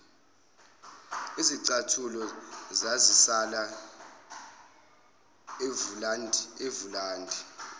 izicathulo zazisala evulandi